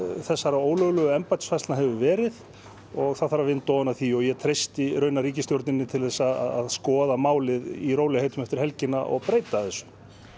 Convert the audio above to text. þessara ólöglegu embættisfærslna hafa verið það þarf að vinda ofan af því og ég treysti ríkisstjórninni til að skoða málið í rólegheitum eftir helgina og breyta þessu